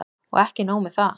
Og ekki nóg með það.